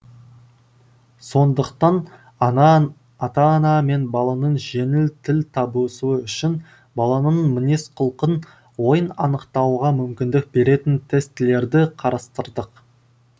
сондықтан ата ана мен баланың жеңіл тіл табысуы үшін баланың мінез құлқын ойын анықтауға мүмкіндік беретін тестілерді қарастырдық